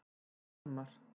Almar